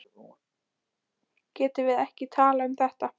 Villi, sagði hún, getum við ekki talað um þetta?